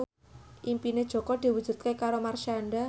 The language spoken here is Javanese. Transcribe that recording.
impine Jaka diwujudke karo Marshanda